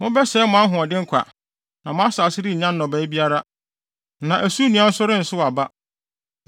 Mobɛsɛe mo ahoɔden kwa, na mo asase rennya nnɔbae biara, na ɛso nnua nso rensow aba.